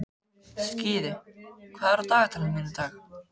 Skíði, hvað er á dagatalinu mínu í dag?